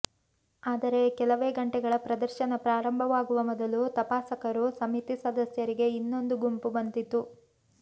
ಆದರೆ ಕೆಲವೇ ಗಂಟೆಗಳ ಪ್ರದರ್ಶನ ಪ್ರಾರಂಭವಾಗುವ ಮೊದಲು ತಪಾಸಕರು ಸಮಿತಿ ಸದಸ್ಯರಿಗೆ ಇನ್ನೊಂದು ಗುಂಪು ಬಂದಿತು